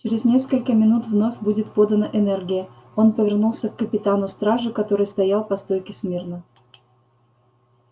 через несколько минут вновь будет подана энергия он повернулся к капитану стражи который стоял по стойке смирно